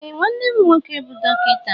Ee nwannem nwoke bu dọkịta.